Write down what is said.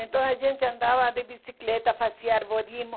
Então a gente andava de bicicleta, fazia arborismo.